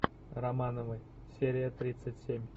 романовы серия тридцать семь